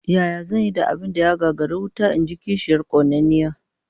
Yaya zan yi da abin da ya gagari wuta? In ji kishiyar konanniya